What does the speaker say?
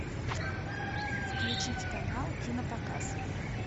включить канал кинопоказ